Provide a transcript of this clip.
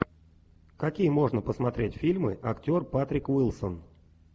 какие можно посмотреть фильмы актер патрик уилсон